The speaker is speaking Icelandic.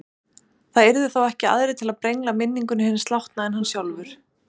Það yrðu þá ekki aðrir til þess að brengla minningu hins látna en hann sjálfur.